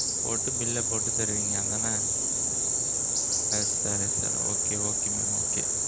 போட்டு bill ல போட்டு தருவீங்க அப்பிடித்தானே? yes sir yes sir okay okay mam okay.